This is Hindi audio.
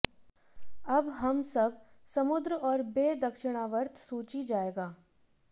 अब हम सब समुद्र और बे दक्षिणावर्त सूची जाएगा